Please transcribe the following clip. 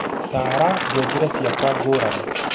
taara ngengere ciakwa ngũrani